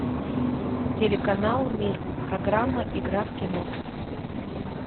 телеканал мир программа игра в кино